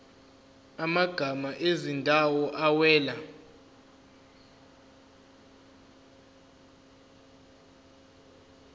amagama ezindawo awela